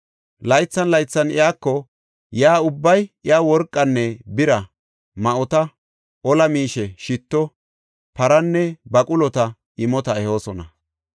Laythan laythan iyako yaa ubbay iyaw worqanne bira, ma7ota, ola miishe, shitto, paranne baqulota imota ehoosona.